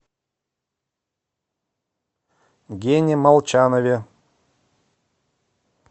гене молчанове